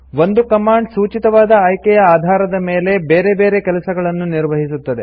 ಒಂದು ಕಮಾಂಡ್ ಸೂಚಿತವಾದ ಆಯ್ಕೆಯ ಆಧಾರದ ಮೇಲೆ ಬೇರೆ ಬೇರೆ ಕೆಲಸಗಳನ್ನು ನಿರ್ವಹಿಸುತ್ತದೆ